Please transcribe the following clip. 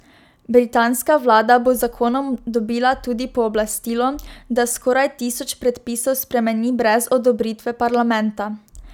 Britanska vlada bo z zakonom dobila tudi pooblastilo, da skoraj tisoč predpisov spremeni brez odobritve parlamenta.